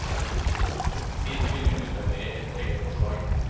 Siden vil vi utarbeide et eget forslag.